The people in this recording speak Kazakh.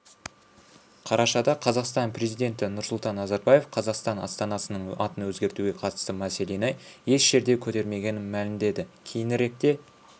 қарашада қазақстан президенті нұрсұлтан назарбаев қазақстан астанасының атын өзгертуге қатысты мәселені еш жерде көтермегенін мәлімдеді кейініректе